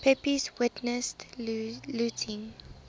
pepys witnessed looting